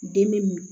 Den be min